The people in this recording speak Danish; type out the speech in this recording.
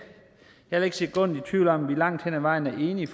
jeg er ikke et sekund i tvivl om at vi langt hen ad vejen er enige